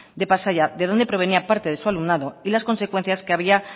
de pasaia de donde provenía parte de su alumnado y las consecuencias que había